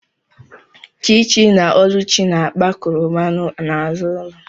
Chichi na oluchi na-akpa koroba n’azụ ụlọ